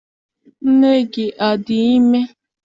Nne gị adị ime?